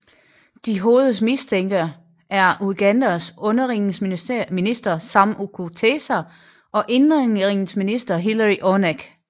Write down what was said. De hovedmistænkte er Ugandas udenrigsminister Sam Kutesa og indenrigsminister Hillary Onek